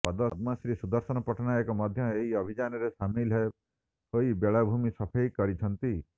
ପଦ୍ମଶୀ ସୁଦର୍ଶନ ପଟ୍ଟନାୟକ ମଧ୍ୟ ଏହି ଅଭିଯାନରେ ସାମିଲ ହୋଇ ବେଳାଭୂମି ସଫେଇ କରିଛନ୍ତି